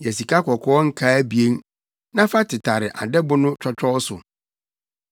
Yɛ sikakɔkɔɔ nkaa abien, na fa tetare adɛbo no twɔtwɔw so.